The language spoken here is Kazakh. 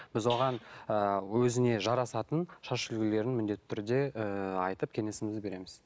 біз оған ііі өзіне жарасатын шаш үлгілерін міндетті түрде ыыы айтып кеңесімізді береміз